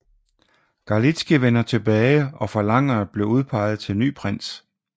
Galitzkij vender tilbage og forlanger at blive udpeget til ny prins